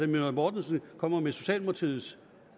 møller mortensen kommer med socialdemokratiets